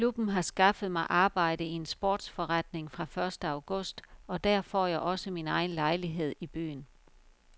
Klubben har skaffet mig arbejde i en sportsforretning fra første august og der får jeg også min egen lejlighed i byen.